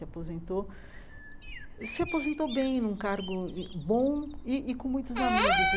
Se aposentou se aposentou bem, num cargo bom e e com muitos amigos.